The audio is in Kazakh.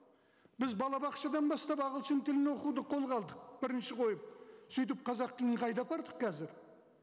біз балабақшадан бастап ағылшын тілін оқуды қолға алдық бірінші қойып сөйтіп қазақ тілін қайда апардық қазір